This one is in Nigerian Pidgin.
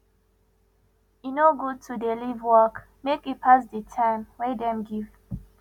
e no good to dey leave work make e pass di time wey dem give